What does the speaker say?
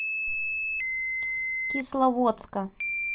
кисловодска